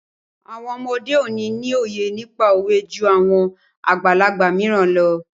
Àwọn ọmọ òde òní ni òye nípa òwe jú àwọn àgbàlagbà mìíràn lọ.